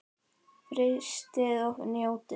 Frystið og njótið.